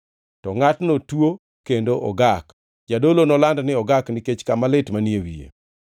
to ngʼatno tuo kendo ogak. Jadolo noland ni ogak nikech kama lit manie wiye.